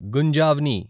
గుంజావ్ని